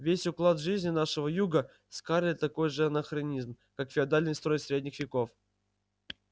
весь уклад жизни нашего юга скарлетт такой же анахренизм как феодальный строй средних веков